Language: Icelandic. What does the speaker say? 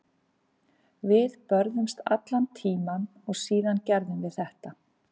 Við börðumst allan tímann og síðan gerum við þetta.